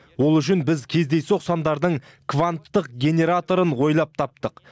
ол үшін біз кездейсоқ сандардың кванттық генераторын ойлап таптық